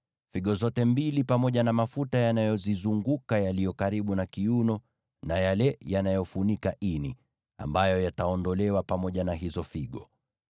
figo zote mbili pamoja na mafuta yanayozizunguka yaliyo karibu na kiuno na yale yanayofunika ini, ambayo yataondolewa pamoja na hizo figo.